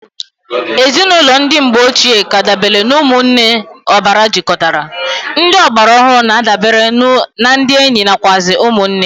Ezinụlọ ndi mgbe ochi k'adabere na umunne obara jikotara, ndị ọgbara ọhụrụ na adabere na ndi enyi nakwuazi umu nne.